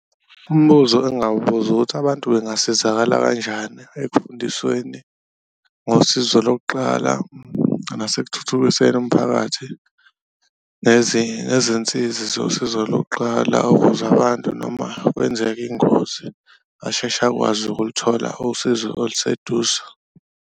Umbuzo engawubuza ukuthi, abantu bengasizakala kanjani ekufundisweni ngosizo lokuqala nasekuthuthukiseni umphakathi, izinsizi zosizo lokuqala? Ukuze abantu noma kwenzeka ingozi asheshe akwazi ukuthola usizo oluseduze.